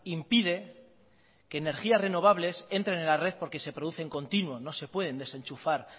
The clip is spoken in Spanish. impide que energías renovables entren en la red porque se produce en continuo no se pueden desenchufar